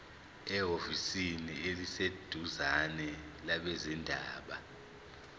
ehhovisi eliseduzane labezindaba